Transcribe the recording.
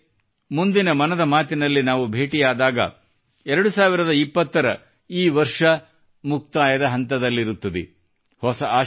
ಸ್ನೇಹಿತರೆ ಮುಂದಿನ ಮನದ ಮಾತಿನಲ್ಲಿ ನಾವು ಭೇಟಿಯಾದಾಗ 2020 ರ ಈ ವರ್ಷ ಮುಕ್ತಾಯದ ಹಂತದಲ್ಲಿರುತ್ತದೆ